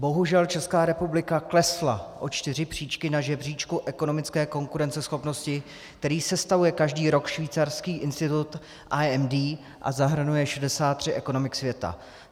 Bohužel Česká republika klesla o čtyři příčky na žebříčku ekonomické konkurenceschopnosti, který sestavuje každý rok švýcarský institut IMD, a zahrnuje 63 ekonomik světa.